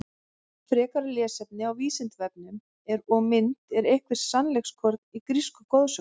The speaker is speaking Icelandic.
Frekara lesefni á Vísindavefnum og mynd Er eitthvert sannleikskorn í grísku goðsögunum?